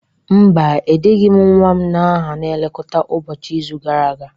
Mba, edeghị m nwa m aha na nlekọta ụbọchị n'izu gara aga